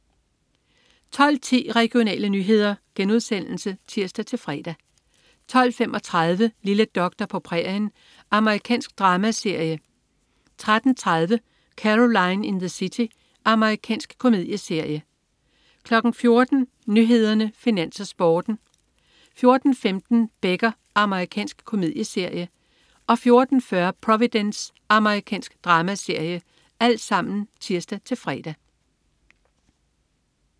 12.10 Regionale nyheder* (tirs-fre) 12.35 Lille doktor på prærien. Amerikansk dramaserie (tirs-fre) 13.30 Caroline in the City. Amerikansk komedieserie (tirs-fre) 14.00 Nyhederne, Finans, Sporten (tirs-fre) 14.15 Becker. Amerikansk komedieserie (tirs-fre) 14.40 Providence. Amerikansk dramaserie (tirs-fre)